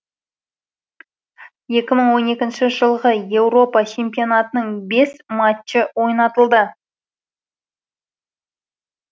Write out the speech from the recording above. екі мың он екінші жылғы еуропа чемпионатының бес матчы ойнатылды